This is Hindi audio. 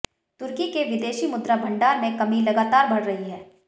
तुर्की के विदेशी मुद्रा भंडार में कमी लगातार बढ़ रही है